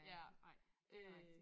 Ja ej øh